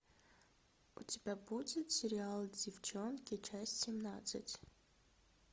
у тебя будет сериал деффчонки часть семнадцать